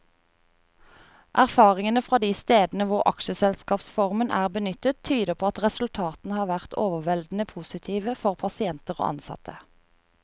Erfaringene fra de stedene hvor aksjeselskapsformen er benyttet, tyder på at resultatene har vært overveldende positive for pasienter og ansatte.